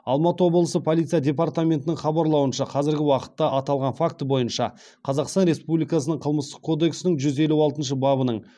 алматы облысы полиция департаментінің хабарлауынша қазіргі уақытта аталған факті бойынша қазақстан республикасының қылмыстық кодексінің жүз елу алтыншы бабының